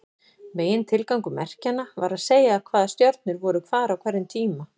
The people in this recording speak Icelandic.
Megintilgangur merkjanna var að segja hvaða stjörnur voru hvar á hverjum tíma.